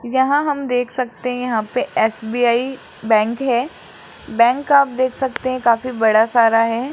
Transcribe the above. यहां हम देख सकते हैं यहां पे एसबीआई बैंक है बैंक आप देख सकते हैं काफी बड़ा सारा है।